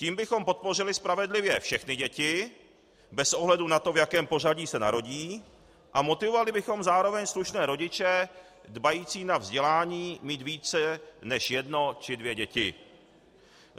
Tím bychom podpořili spravedlivě všechny děti bez ohledu na to, v jakém pořadí se narodí, a motivovali bychom zároveň slušné rodiče, dbající na vzdělání, mít více než jedno či dvě děti.